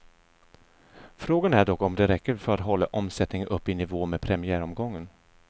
Frågan är dock om det räcker för att hålla omsättningen uppe i nivå med premiäromgången.